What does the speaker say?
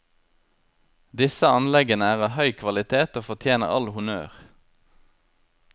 Disse anleggene er av høy kvalitet og fortjener all honnør.